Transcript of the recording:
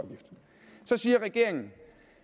siger regeringen